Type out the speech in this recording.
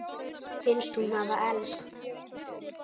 Finnst hún hafa elst.